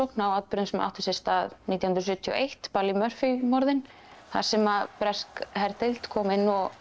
á atburðum sem áttu sér stað nítján hundruð sjötíu og eitt morðin þar sem bresk herdeild kom inn